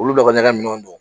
Olu dɔ ka ɲɛgɛn ninnu don